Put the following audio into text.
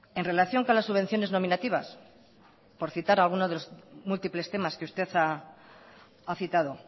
en relación con las subvenciones nominativas por citar alguno de los múltiples temas que usted ha citado